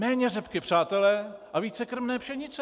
Méně řepky, přátelé, a více krmné pšenice!